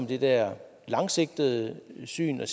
det der langsigtede syn